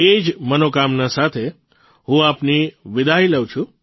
એ જ મનોકામના સાથે હું આપની વિદાય લઉં છું